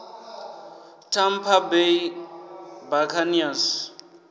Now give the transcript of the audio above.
tampa bay buccaneers